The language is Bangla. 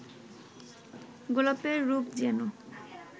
গোলাপের রূপ যেন